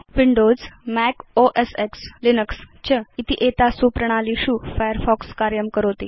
Windows Mac OS X Linux च इति एतासु प्रणालीषु फायरफॉक्स कार्यं करोति